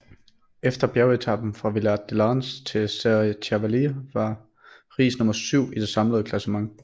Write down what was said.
Efter bjergetapen fra Villard De Lans til Serre Chevalier var Riis nummer syv i det samlede klassement